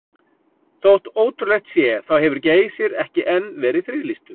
Þótt ótrúlegt sé þá hefur Geysir ekki enn verið friðlýstur.